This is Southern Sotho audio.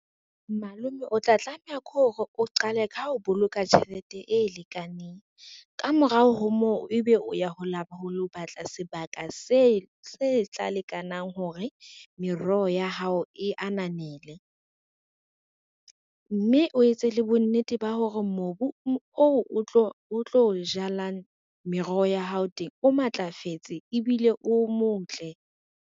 Malome o tla tlameha ke hore o qale ka ho boloka tjhelete e lekaneng. Ka morao ho moo, ebe o ya ho lo batla sebaka se tla lekanang hore meroho ya hao e ananele, mme o etse le bonnete ba hore mobu oo o tlo jalang meroho ya hao teng o matlafetse ebile o motle.